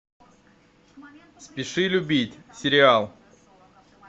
спеши любить сериал